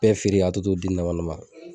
Bɛɛ feere ka tɔ to den nama nama.